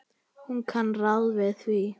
Hún kann ráð við því.